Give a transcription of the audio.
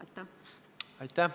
Aitäh!